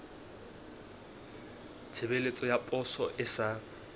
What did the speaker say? tshebeletso ya poso e sa